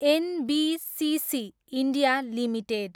NBCC, India, limited